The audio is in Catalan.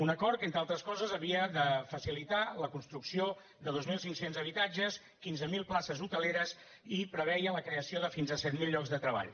un acord que entre altres coses havia de facilitar la construcció de dos mil cinc cents habitatges quinze mil places hoteleres i preveia la creació de fins a set mil llocs de treball